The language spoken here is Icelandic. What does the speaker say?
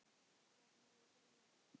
Hvern hefði grunað þetta?